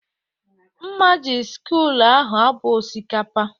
Mma ji sịkul ahụ abo osikapa